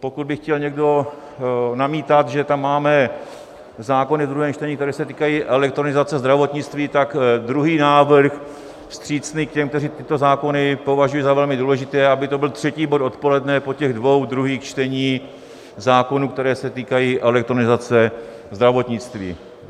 Pokud by chtěl někdo namítat, že tam máme zákony ve druhém čtení, které se týkají elektronizace zdravotnictví, tak druhý návrh, vstřícný k těm, kteří tyto zákony považují za velmi důležité, aby to byl třetí bod odpoledne po těch dvou druhých čteních zákonů, které se týkají elektronizace zdravotnictví.